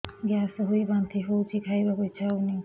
gas ହୋଇ ବାନ୍ତି ହଉଛି ଖାଇବାକୁ ଇଚ୍ଛା ହଉନି